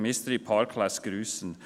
Der Mystery Park lässt grüssen.